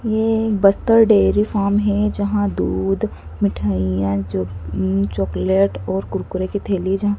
ये एक Bastar dairy farm है जहां दूध मिठाइयां चॉकलेट और कुरकुरे की थैली जहां--